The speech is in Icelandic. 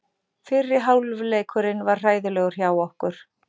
Fyrri hálfleikurinn var hræðilegur hjá okkur.